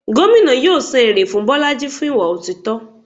Gómìnà yóò san èrè fún bolájí fún ìwà otítọ́.